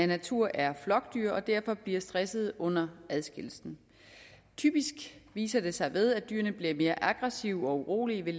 natur er flokdyr og derfor bliver stressede under adskillelsen typisk viser det sig ved at dyrene bliver mere aggressive og urolige ved